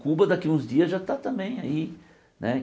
Cuba daqui a uns dias já está também aí né.